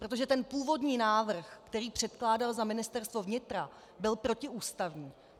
Protože ten původní návrh, který předkládal za Ministerstvo vnitra, byl protiústavní.